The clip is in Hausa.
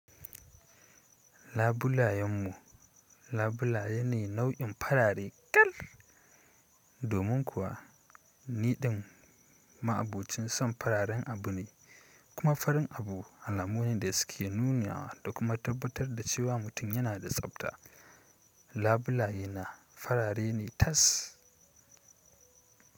Labulayen mu labulaye ne nau'in farare kal, domin kuwa niɗin ma'abucin son fararen abu ne kuma farin abu alamomin da suke nuna da kuma tabbatar da cewa mutum yana da tsafta. Labulaye na farare ne tas.